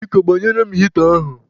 Biko, gbanyere m hịta ahụ.